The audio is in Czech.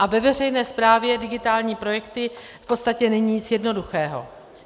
A ve veřejné správě digitální projekty v podstatě není nic jednoduchého.